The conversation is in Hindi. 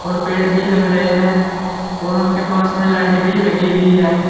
और पेड़ भी लग रहे हैं और उनके पास में लाइट भी लगी हुई है।